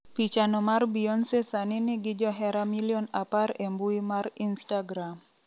Pichano mar Beyonce sani nigi johera milion apar e mbui mar instagram.